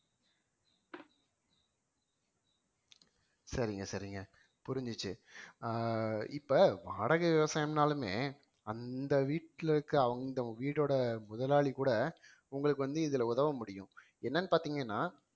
சரிங்க சரிங்க புரிஞ்சுச்சு அஹ் இப்ப வாடகை விவசாயம்னாலுமே அந்த வீட்டுல இருக்க அந்த வீடோட முதலாளி கூட உங்களுக்கு வந்து இதுல உதவ முடியும் என்னன்னு பாத்தீங்கன்னா